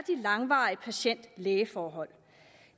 langvarige patient læge forhold